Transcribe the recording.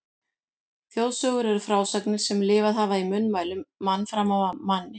Þjóðsögur eru frásagnir sem lifað hafa í munnmælum mann fram af manni.